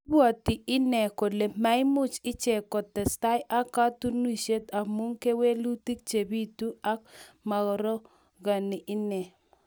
Ibwati inne kole maimuch ichek kotestai ak kotunisiet amu kewelutik che bitu ako maarogeni inne